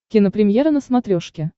кинопремьера на смотрешке